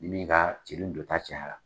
Ni min ka celu don ta cayara.